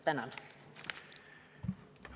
Tänan!